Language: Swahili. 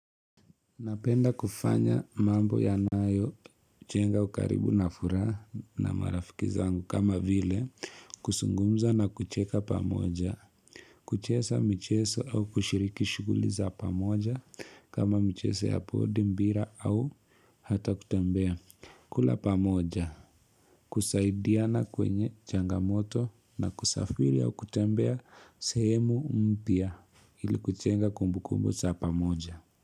Napenda kufanya mambo yanayojenga ukaribu na furaha na marafiki zangu kama vile, kuzungumza na kucheka pamoja, kucheza mchezo au kushiriki shughuli pamoja kama mchezo ya board mpira au hata kutembea, kula pamoja, kusaidiana kwenye changamoto na kusafiri au kutembea sehemu mpya ili kujenga kumbukumbu za pamoja.